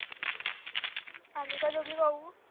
आम्ही का दोघी खाऊ